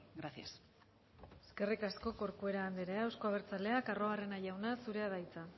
gracias eskerrik asko corcuera andrea euzko abertzaleak arruabarrena jauna zurea da hitza